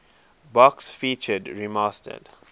box featured remastered